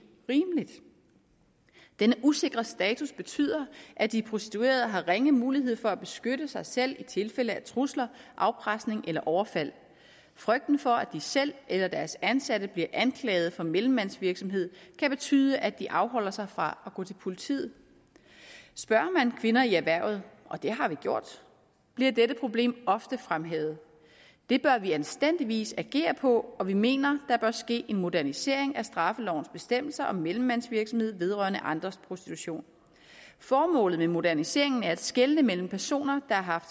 rimeligt denne usikre status betyder at de prostituerede har ringe mulighed for at beskytte sig selv i tilfælde af trusler afpresning eller overfald frygten for at de selv eller deres ansatte bliver anklaget for mellemmandsvirksomhed kan betyde at de afholder sig fra at gå til politiet spørger man kvinder i erhvervet og det har vi gjort bliver dette problem ofte fremhævet det bør vi anstændigvis agere på og vi mener der bør ske en modernisering af straffelovens bestemmelser om mellemmandsvirksomhed vedrørende andres prostitution formålet med moderniseringen er at skelne mellem personer der har